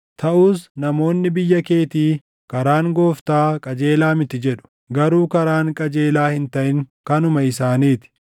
“Taʼus namoonni biyya keetii, ‘Karaan Gooftaa qajeelaa miti’ jedhu. Garuu karaan qajeelaa hin taʼin kanuma isaanii ti.